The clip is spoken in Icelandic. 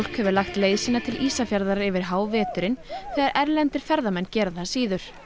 hefur lagt leið sína til Ísafjarðar yfir háveturinn þegar erlendir ferðamenn gera það síður